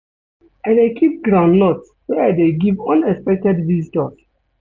I dey keep groundnut wey I dey give unexpected visitors.